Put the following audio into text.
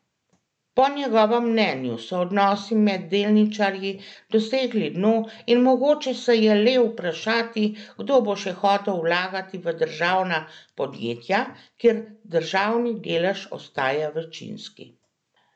Po njegovem mnenju so odnosi med delničarji dosegli dno in mogoče se je le vprašati, kdo bo še hotel vlagati v državna podjetja, kjer državni delež ostaja večinski.